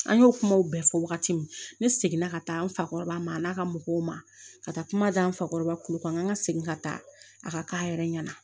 An y'o kumaw bɛɛ fɔ wagati min ne seginna ka taa n fakɔrɔba ma a n'a ka mɔgɔw ma ka taa kuma di an fakɔrɔba kulu kan an ka segin ka taa a ka k'a yɛrɛ ɲɛna